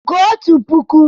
Gụọ otu puku!